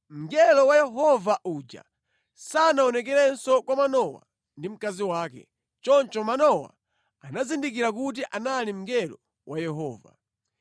Mngelo wa Yehova uja sanaonekerenso kwa Manowa ndi mkazi wake. Choncho Manowa anazindikira kuti anali mngelo wa Yehova.